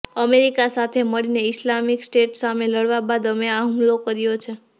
America સાથે મળીને Islamic State સામે લડવા બદલ અમે આ હુમલો કર્યો છે